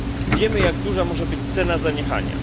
Wiemy, jak duża może być cena zaniechania.